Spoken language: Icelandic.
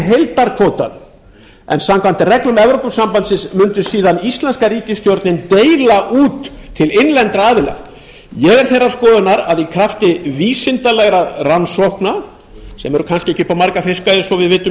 heildarkvótann en samkvæmt reglum evrópusambandsins myndi síðan íslenska ríkisstjórnin deila út til innlendra aðila ég er þeirra skoðunar að í krafti vísindalegra rannsókna sem eru kannski ekki upp á marga fiska eins og við vitum í